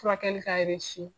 Furakɛli ka